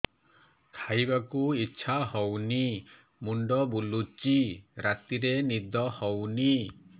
ଖାଇବାକୁ ଇଛା ହଉନି ମୁଣ୍ଡ ବୁଲୁଚି ରାତିରେ ନିଦ ହଉନି